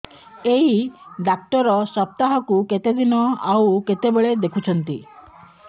ଏଇ ଡ଼ାକ୍ତର ସପ୍ତାହକୁ କେତେଦିନ ଆଉ କେତେବେଳେ ଦେଖୁଛନ୍ତି